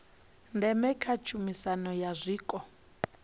ndeme kha miaisano ya zwiko